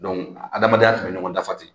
Donc adamadenya tun bɛ ɲɔgɔn dafa ten